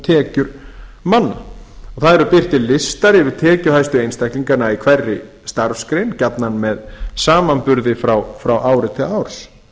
tekjur manna það eru birtir listar yfir tekjuhæstu einstaklingana í hverri starfsgrein gjarnan með samanburði frá ári til árs það